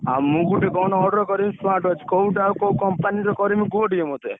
ଆ ମୁଁ ଗୋଟେ କଣ order କରିବି smartwatch କୋଉଟା କୋଉ company ର କରିବି କୁହ ଟିକେ ମତେ?